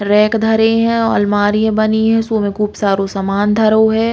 रैक धरे है। अलमारी बनी है। सो में खूब सारो सामान धरो है।